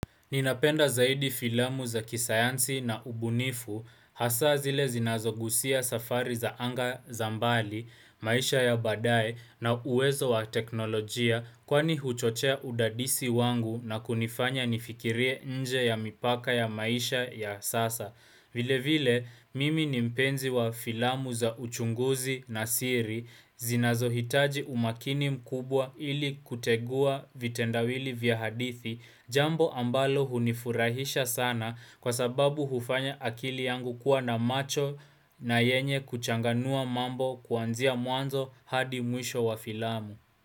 Ninapenda zaidi filamu za kisayansi na ubunifu, hasa zile zinazoghusia safari za anga za mbali, maisha ya baadaye na uwezo wa teknolojia kwani huchochea udadisi wangu na kunifanya nifikirie nje ya mipaka ya maisha ya sasa. Vile vile mimi ni mpenzi wa filamu za uchunguzi na siri zinazohitaji umakini mkubwa ili kutegua vitendawili vya hadithi jambo ambalo hunifurahisha sana kwa sababu hufanya akili yangu kuwa na macho na yenye kuchanganua mambo kwanzia mwanzo hadi mwisho wa filamu.